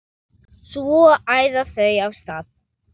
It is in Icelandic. Svo æða þau af stað.